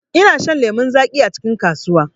ina shan lemu zaƙi acikin kasuwa.